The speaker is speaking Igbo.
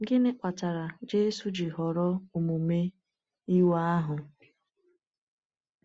Gịnị kpatara Jésù ji họrọ omume iwe ahụ?